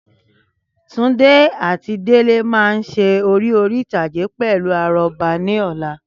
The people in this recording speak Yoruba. Túndé àti Délé máa ṣe eré orí ìtàgé pelu àrọ́bá ní ọ̀la